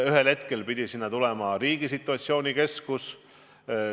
Ühel hetkel pidi sinna tulema riigi situatsioonikeskus.